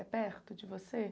É perto de você?